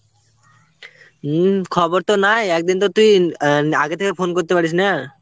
উম খবর তো নাই একদিন তো তুই অ্যাঁ আগে থেকে phone করতে পারিস না?